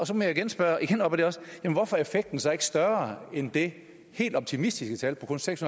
så må jeg igen spørge hvorfor er effekten så ikke større end det helt optimistiske tal på kun seks